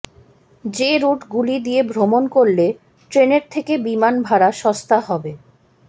যে রুট গুলি দিয়ে ভ্রমণ করলে ট্রেনের থেকে বিমান ভাড়া সস্তা হবে